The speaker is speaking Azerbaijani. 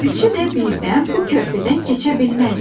Üçü də birdən bu körpüdən keçə bilməzdi.